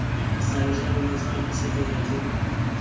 seabe sa lona sa tshegetso